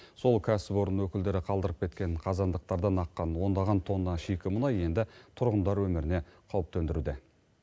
сол кәсіпорын өкілдері қалдырып кеткен қазандықтардан аққан ондаған тонна шикі мұнай енді тұрғындар өміріне қауіп төндіруде